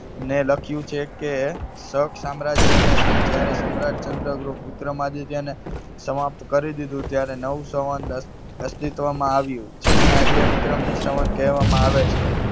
ને લખ્યું છે કે શક સામ્રાજ્યને જયારે સમ્રાટ ચંદ્રગુપ્ત વિક્રમાદિત્યને સમાપ્ત કરી દીધું, ત્યારે નવું સંવંત અસ્તિત્વમાં આવ્યું. જેને આજે વિક્રમી સંવંત કહેવામાં આવે છે.